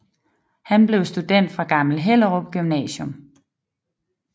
Han blev student fra Gammel Hellerup Gymnasium